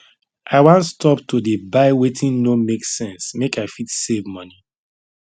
i wan stop to dey buy wetin no make sense make i fit save money